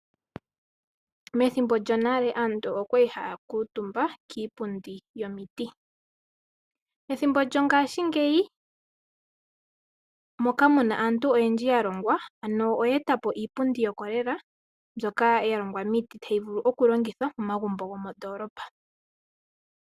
Methimbo lyonale aantu okwali haya kuutumba kiipundi yomiti. Ethimbo lyongashingeyi moka muna aantu oyendji ya longwa. Ano oya eta po iipundi yo kolela mbyoka ya longwa miiti, tayi vulu okulongithwa momagumbo gomondolapa.